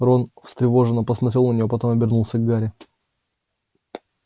рон встревоженно посмотрел на неё потом обернулся к гарри